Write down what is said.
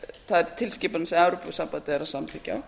þær tilskipanir sem evrópusambandið er að samþykkja